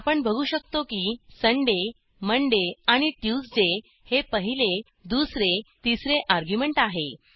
आपण बघू शकतो की सुंदय मोंडे आणि ट्यूसडे हे पहिले दुसरे तिसरे अर्ग्युमेंट आहे